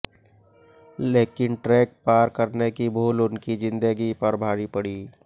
लेकिन ट्रैक पार करने की भूल उनकी जिंदगी पर भारी पड़ी